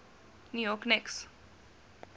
new york knicks